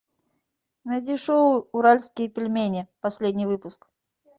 найди шоу уральские пельмени последний выпуск